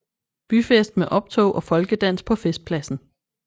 Byfest med optog og folkedans på festpladsen